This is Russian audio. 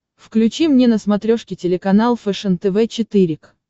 включи мне на смотрешке телеканал фэшен тв четыре к